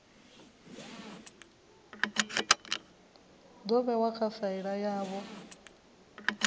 do vhewa kha faili yavho